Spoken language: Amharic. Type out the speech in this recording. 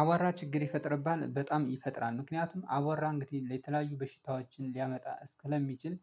አዋራ ችግር ይፈጥርብናል በጣም ይፈጥራል ምክንያቱም አዋራ እንግዲህ ለተለያዩ በሽታዎችን ሊያመጣ እስክለሚችል።